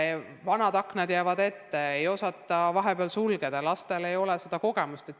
Vahel jäävad vanad aknad ette, ei osata neid sulgeda – lastel ei ole seda kogemust.